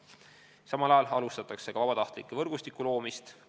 Samal ajal alustatakse vabatahtlike võrgustiku loomist.